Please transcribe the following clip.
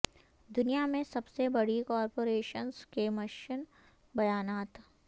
دنیا میں سب سے بڑی کارپوریشنز کے مشن بیانات